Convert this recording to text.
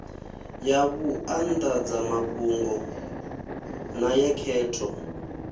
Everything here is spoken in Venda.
ya vhuanḓadzamafhungo na ya khetho